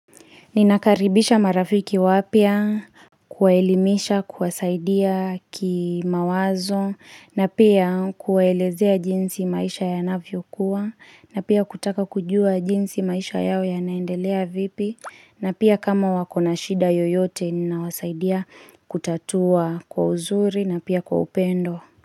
Ninakaribisha marafiki wapya, kuwaelimisha, kuwasaidia, kimawazo, na pia kuwaelezea jinsi maisha yanavyokuwa, na pia kutaka kujua jinsi maisha yao ya naendelea vipi, na pia kama wakona shida yoyote ninawasaidia kutatua kwa uzuri na pia kwa upendo.